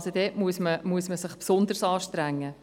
Man muss sich dort also besonderes anstrengen.